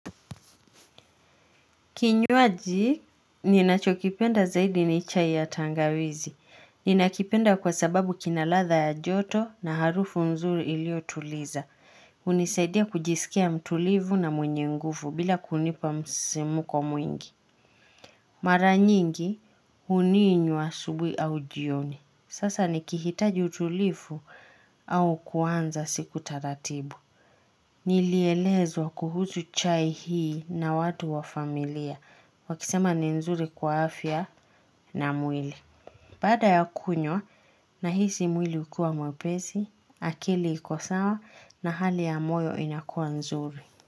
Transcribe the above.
Kinywaji, ninachokipenda zaidi ni chai ya tangawizi. Ninakipenda kwa sababu kinaladha ya joto na harufu nzuri ilio tuliza. Unisaidia kujisikia mtulivu na mwenye ngufu bila kunipa msimko mwingi. Mara nyingi huninywa asubuhi au jioni. Sasa nikihitaji utulivu au kuanza siku taratibu. Nilielezwa kuhusu chai hii na watu wa familia. Wakisema ni nzuri kwa afya na mwili. Bada ya kunywa nahisi mwili ukiwa mwepesi, akili ikosawa na hali ya moyo inakua nzuri.